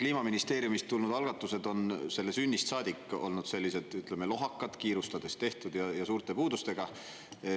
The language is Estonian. Kliimaministeeriumist tulnud algatused on selle sünnist saadik olnud sellised lohakad, kiirustades tehtud ja suurte puudustega.